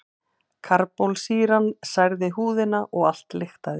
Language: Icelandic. Karbólsýran særði húðina og allt lyktaði.